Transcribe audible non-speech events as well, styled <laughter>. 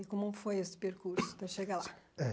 E como foi esse percurso <coughs> até chegar lá? É